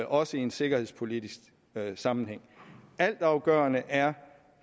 også i en sikkerhedspolitisk sammenhæng altafgørende er